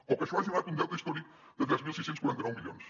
o que això hagi donat un deute històric de tres mil sis cents i quaranta nou milions